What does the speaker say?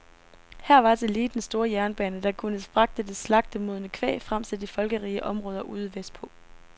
Her var tillige den store jernbane, der kunne fragte det slagtemodne kvæg frem til de folkerige områder ude vestpå.